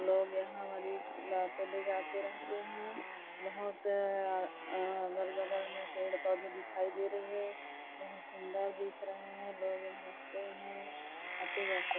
लोग यहाँ मरीज़ को लाते ले जाते रहते है बहोत आ अ अ अगल-बगल में पेड़-पौधे दिखाई दे रही है बहोत सुन्दर दिख रहे है लोग यहाँ रहते है आते जाते--